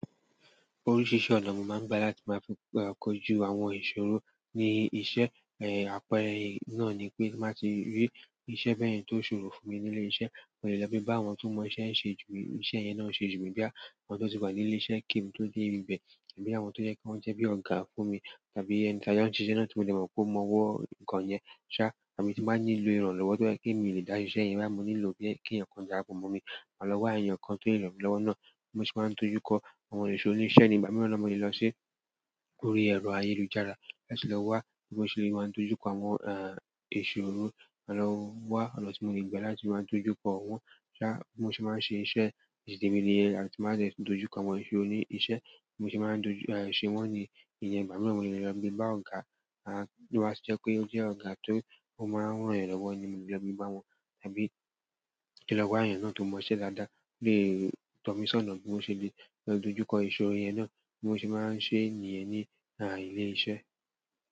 Oríṣiríṣi ọ̀nà ni mo máa ń gbà láti máa fi ko jú àwọn ìṣòro ní iṣẹ́. Èh, àpẹẹrẹ náà ni pé má tí rí iṣẹ́ bẹ́ẹ̀ ni tó ṣòro fún mi nílé iṣẹ́, mo lè lọ bí bá àwọn tó mọ iṣẹ́ ń ṣe jù mí, iṣẹ́ yẹn náà ń ṣe jù mí bá àwọn tó ti wà nílé iṣẹ́ kí n tó dé ibẹ̀ àbí àwọn tó yẹ kí wọ́n jẹ́ bí ọ̀gá fún mi tàbí ẹni tí ayé wọn ń ṣe iṣẹ́ náà tí mo lè mọ̀ pé ó mọ ọwọ́ nǹkan yẹn ṣá. Àbí tí mo bá nílò ìrànlọ́wọ́ tó jẹ́ kí èmi lè dá iṣẹ́ yẹn bá, mo nílò bí è kí ǹkan dàra po mo mi máa lọ wá èèyàn kan tó lè ràn mí lọ́wọ́ náà. Mo sì máa ń dojú kọ àwọn ìṣòro níbiṣẹ́ ní ìgbà mìíràn na mo le lọ́ sí orí ẹ̀rọ ayélujára láti lọ wá bí mo ṣe lè máa dojú kọ àwọn, ìṣòro máa lọ wá ọ̀nà tí mo lè gbà láti máa dojú kọ wọn ṣá. Bi mo se maa se iṣẹ́ titi temi niyen àti mo ba de doju ko àwọn ìṣòro nibi iṣẹ́ bi mo se máa ń dóju, ṣe wọ́n ní ìyẹ́n ìgbà mìíràn mo lè lọ gbe bá ọ̀gá, ti o ba ti je pé ó jẹ́ ọ̀gá ti ó máa ń ràn eeyan lọ́wọ́ ni mò le lọ gbe bá wọn tàbí kí lọ wá èèyàn náà tó mọ iṣẹ́ dádáà. Tọ̀ mí sọ̀nà bí mo ṣe le lè dojú kọ ìṣòro yẹn náà, bí mo ṣe máa ń ṣe nìyẹn ní ìlé iṣẹ́.